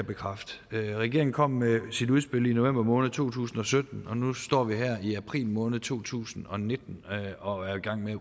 bekræfte regeringen kom med sit udspil i november måned to tusind og sytten og nu står vi her i april måned to tusind og nitten og er i gang med at